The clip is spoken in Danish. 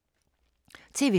TV 2